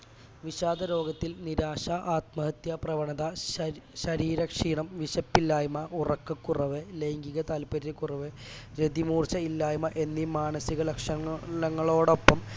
വിഷാദരോഗത്തിൽ നിരാശ ആത്മഹത്യാ പ്രവണത ഷര് ശരീര ക്ഷീണം വിശപ്പില്ലായ്മ ഉറക്കക്കുറവ് ലൈംഗിക താൽപര്യക്കുറവ് രതിമൂർച്ഛ ഇല്ലായ്മ എന്നീ മാനസിക ലക്ഷണങ്ങൾ ങ്ങളോടൊപ്പം